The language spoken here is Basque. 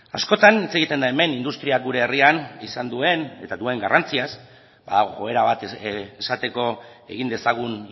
askotan hitz egiten da hemen industriak gure herrian izan duen eta duen garrantziaz ba joera bat esateko egin dezagun